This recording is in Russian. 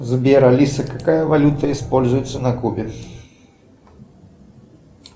сбер алиса какая валюта используется на кубе